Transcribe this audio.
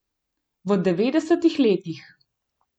V devetdesetih letih.